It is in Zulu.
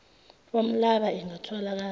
woml llaba ingatholakali